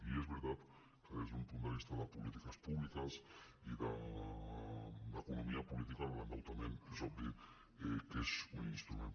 i és veri·tat que des d’un punt de vista de polítiques públiques i d’economia política l’endeutament és obvi que és un instrument